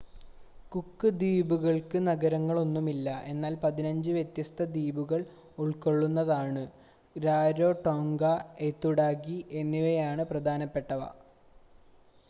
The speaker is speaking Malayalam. കുക്ക് ദ്വീപുകൾക്ക് നഗരങ്ങളൊന്നുമില്ല എന്നാൽ 15 വ്യത്യസ്ത ദ്വീപുകൾ ഉൾക്കൊള്ളുന്നതാണ് രാരോടോംഗ ഐതുടാകി എന്നിവയാണ് പ്രധാനപ്പെട്ടവ